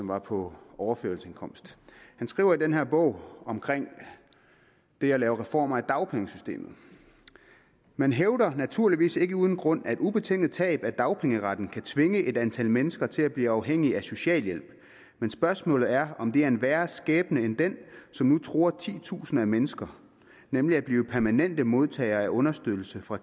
var på overførselsindkomst han skriver i den her bog om det at lave reformer af dagpengesystemet man hævder naturligvis ikke uden grund at ubetinget tab af dagpengeretten kan tvinge et antal mennesker til at blive afhængige af socialhjælp men spørgsmålet er om det er en værre skæbne end den som nu truer titusinder af mennesker nemlig at blive permanente modtagere af understøttelse fra